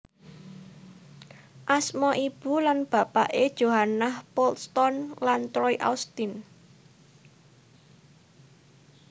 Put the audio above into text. Asma ibu lan bapake Johannah Poulston lan Troy Austin